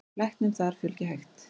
Læknum þar fjölgi hægt.